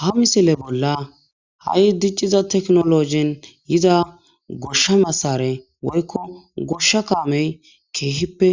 Ha misile bola ha'i diciza teknoloje yiza gosha masare, weyko gosha kame kehipe